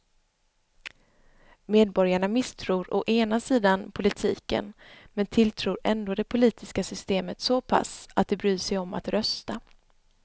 Medborgarna misstror å ena sidan politiken men tilltror ändå det politiska systemet så pass att de bryr sig om att rösta.